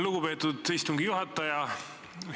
Lugupeetud istungi juhataja!